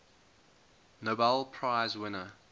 nobel prize winner